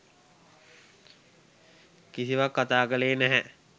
කිසිවක් කතා කළේ නැහැ.